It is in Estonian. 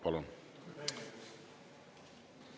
Palun!